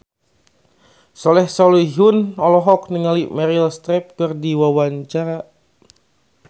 Soleh Solihun olohok ningali Meryl Streep keur diwawancara